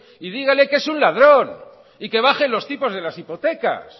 y dígale que es un ladrón y que baje los tipos de las hipotecas